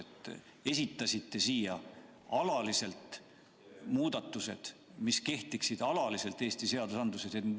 Te esitasite siia muudatused, mis kehtiksid alaliselt Eesti seadustikus.